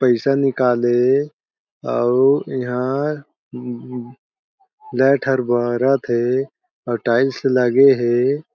पइसा निकले अउ इहा म म लाइट ह बरत हे अउ टाइल्स लगे हे।